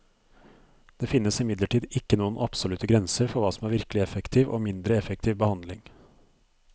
Det finnes imidlertid ikke noen absolutte grenser for hva som er virkelig effektiv og mindre effektiv behandling.